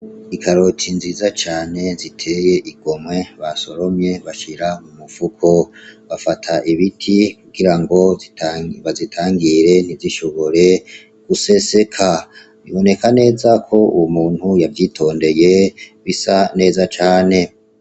Ikaroti nziza cane ziteye igomwe basoromye bashira mu mufuko, bafata ibiti kugirango bazitangire ntizishobore guseseka, biboneka neza ko uwo muntu yavyitondeye bisa neza cane.